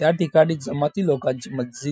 या ठिकाणी जमाती लोकांची मस्जिद--